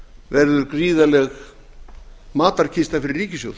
verður gríðarleg matarkista fyrir ríkissjóð